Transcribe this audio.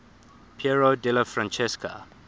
piero della francesca